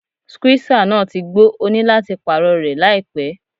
Skúísà náà ti gbó, òní láti pààrọ̀ rẹ̀ láìpẹ́.